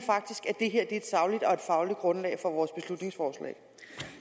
at det her er et sagligt og et fagligt grundlag for vores beslutningsforslag